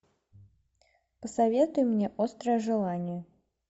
посоветуй мне острое желание